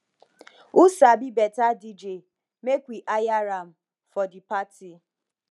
who sabi better dj make we hire am for the party